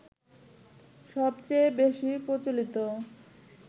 সবচেয়ে বেশি প্রচলিত